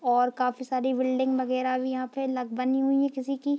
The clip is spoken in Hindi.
और काफी सारी बिल्डिंग वगैरा भी यहां पे ल बनी हुई है किसी की।